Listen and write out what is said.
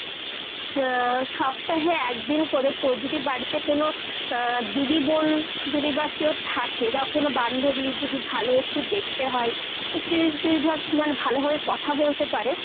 আহ সপ্তাহে একদিন করে তোর যদি বাড়িতে কোনো আহ দিদি, বোন যদি বা কেউ থাকে বা কোনো বান্ধবী যদি ভালো একটু দেখতে হয়। একটু যদি তুই ধর মানে ভালোভাবে কথা বলতে পারে,